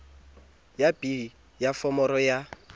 ya b ya foromo ya